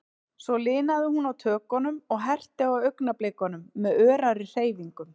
Svo linaði hún á tökunum, og ég herti á augnablikunum með örari hreyfingum.